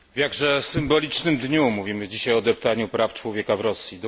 W jakże symbolicznym dniu mówimy dzisiaj o deptaniu praw człowieka w Rosji.